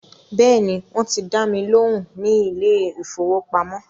Bẹ́ẹ̀ni, wọ́n ti dá mi lóhùn ní ilé ìfọwọ́pamo.